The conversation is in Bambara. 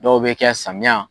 Dɔw be kɛ samiya.